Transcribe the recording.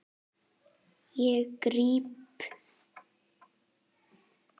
Ég gríp.